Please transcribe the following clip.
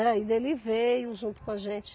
ele veio junto com a gente.